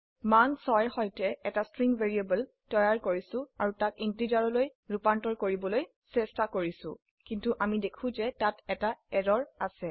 মান 6ৰ সৈতে এটা স্ট্ৰিং ভ্যাৰিয়েবল তৈয়াৰ কৰিছো আৰু তাক ইন্টিজাৰলৈ ৰুপান্তৰ কৰিবলৈ চেষ্টা কৰিছি কিন্তু আমি দেখো যে তাত এটি এৰৰ অছে